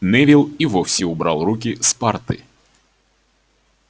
невилл и вовсе убрал руки с парты